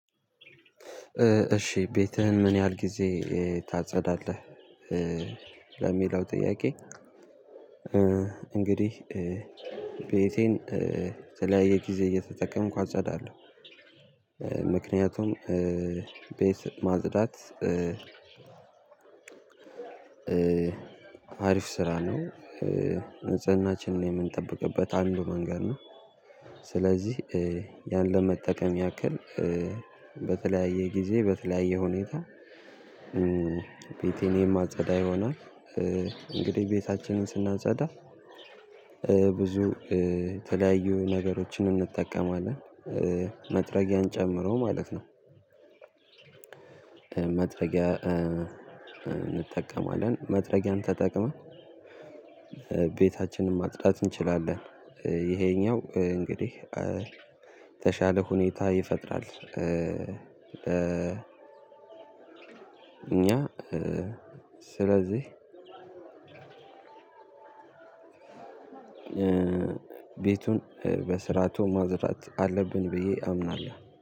እሺ ቤትህን ምን ያህል ጊዜ ታጸዳለህ? ለሚለው ጥያቄ እንግዲህ ቤቴን በተለያየ ጊዜ እየተጠቀምኩ አጸዳለው። ምክንያቱም ቤት ማጽዳት አሪፍ ስራ ነው። ንጽህናችንን የምንጠብቅበት አንዱ መንገድ ነው። ስለዚህ ያን ለመጠቀም ያክል በተለያየ ጊዜ በተለያየ ሁኔታ ቤቴን የማጸዳ ይሆናል። እንግዲህ ቤታችንን ስናንጸዳ ብዙ የተለያዩ ነገሮችን እንጠቀማለን መጥረጊያን ጨምሮ ማለት ነው። መጥረጊያ እንጠቀማለን መጥረጊያን ተጠቅመን ቤታችንን ማጽዳት እንችላለን። ይሄኛው እንግዲህ የተሻለ ሁኔታ ይፈጥራል። እኛ ስለዚህ ቤቱን በስራቱ ማጽዳት አለብን ብዬ አምናለሁ